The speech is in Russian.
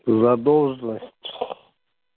задолженность